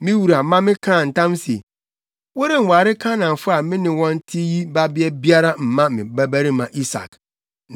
Me wura ma mekaa ntam se, ‘Worenware Kanaanfo a me ne wɔn te yi babea biara mma me babarima Isak.